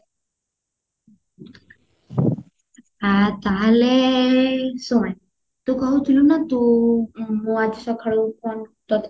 ଆ ତାହେଲେ ଶୁଣେ ତୁ କହୁଥିଲୁ ନାଁ ମୁଁ ଆଜି ସଖାଳୁ phone ତତେ